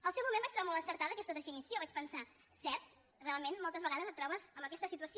al seu moment vaig trobar molt encertada aquesta definició vaig pensar cert realment moltes vegades et tro·bes amb aquesta situació